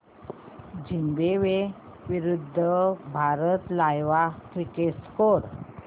Zimbabwe विरूद्ध Bharat live cricket score